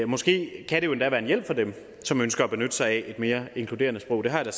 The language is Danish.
måske endda være en hjælp for dem som ønsker at benytte sig af et mere inkluderende sprog det har jeg